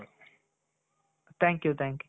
thank you thank you.